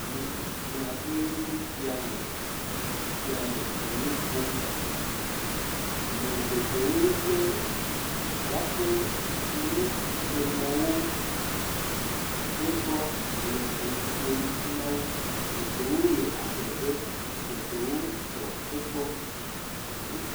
Ame tsitsi aɖe enye sia le afi sia le nu ƒom. Ame geɖewo lé woƒe aƒe nusemɔwo gbɔ wole nu ƒom na wo. Geɖewo le adzɔge, geɖewo tsɔ egbɔ.